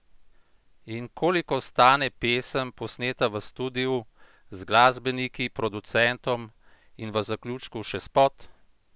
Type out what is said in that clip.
In koliko stane pesem, posneta v studiu, z glasbeniki, producentom in v zaključku še spot?